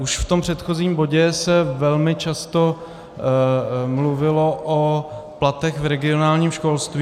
Už v tom předchozím bodě se velmi často mluvilo o platech v regionálním školství.